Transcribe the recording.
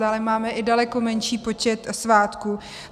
Dále máme i daleko menší počet svátků.